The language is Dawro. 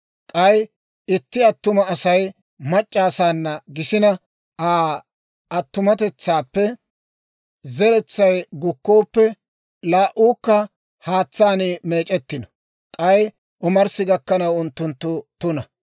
K'ay itti attuma Asay mac'c'a asaana gisina, Aa attumatetsaappe zeretsay gukkooppe, laa"uukka haatsaan meec'ettino; k'ay omarssi gakkanaw unttunttu tuna.